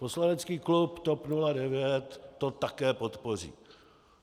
Poslanecký klub TOP 09 to také podpoří.